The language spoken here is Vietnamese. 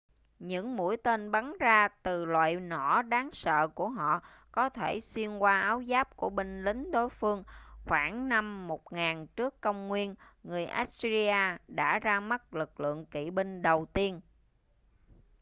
những mũi tên bắn ra từ loại nỏ đáng sợ của họ có thể xuyên qua áo giáp của binh lính đối phương khoảng năm 1000 trước công nguyên người assyria đã ra mắt lực lượng kỵ binh đầu tiên